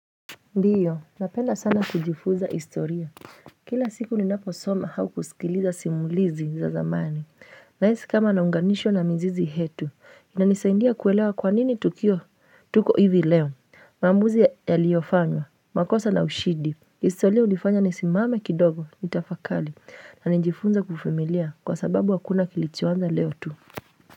Ndiyo, napenda sana kujifuza istoria. Kila siku ninapo soma au kusikiliza simulizi za zamani. Nahisi kama naunganishwa na mzizi hetu. Inanisaindia kuelewa kwa nini tukio tuko hivi leo. Maamuzi yaliofanywa, makosa na ushidi. Istoria ulifanya nisimame kidogo, nitafakali. Na nijifunza kuvumilia kwa sababu akuna kilichoanza leo tu.